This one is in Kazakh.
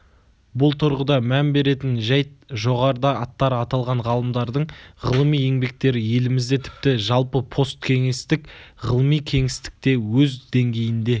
бұл тұрғыда мән беретін жайт жоғарыда аттары аталған ғалымдардың ғылыми еңбектері елімізде тіпті жалпы посткеңестік ғылыми кеңістікте өз деңгейінде